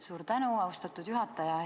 Suur tänu, austatud juhataja!